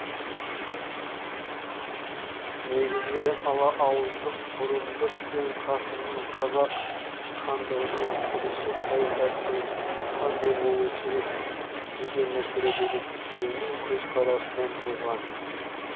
негізгі ала ауыздық бұрындық пен қасымның қазақ хандығының келешек саясатының қандай болуы керек деген мәселедегі екеуінің көзқарасынан туған